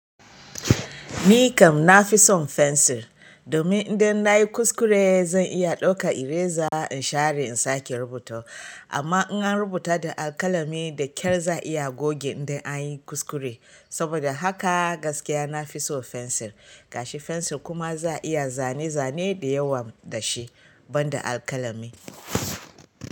Ni kam na fi son fensir, domin idan na yi kuskure zan iya ɗauka ireza in share in sake rubuta. Amma in an rubuta da alƙalami da ƙyar za a iya goge idan an yi kuskure. Saboda haka gaskiya na fi so fensir. Gashi fensir kuma za a iya zane-zane da yawa da shi ban da alƙalami.